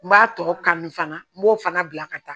N b'a tɔ kanu fana n b'o fana bila ka taa